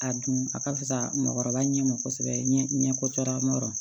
A dun a ka fusa mɔgɔkɔrɔba ɲɛ ma kosɛbɛ ɲɛ kɔcɔ